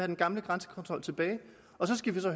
den gamle grænsekontrol tilbage så skal